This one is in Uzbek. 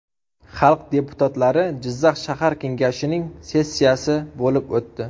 Xalq deputatlari Jizzax shahar Kengashining sessiyasi bo‘lib o‘tdi.